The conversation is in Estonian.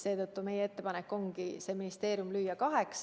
Seetõttu meie ettepanek ongi lüüa see ministeerium kaheks.